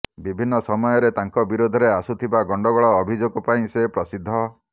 ବିଭିନ୍ନ ସମୟରେ ତାଙ୍କ ବିରୋଧରେ ଆସୁଥିବା ଗଣ୍ଡଗୋଳ ଅଭିଯୋଗ ପାଇଁ ସେ ପ୍ରସିଦ୍ଧ